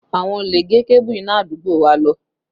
Àwọn olè gé kébù iná àdúgbò wa lọ